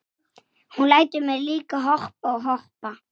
Ég sá hann Bárð.